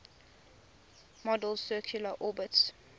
model's circular orbits